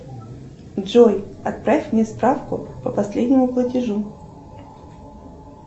джой отправь мне справку по последнему платежу